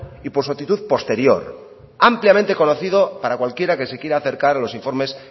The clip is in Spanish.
y por su actitud posterior ampliamente conocido para cualquiera que se quiera acercar a los informes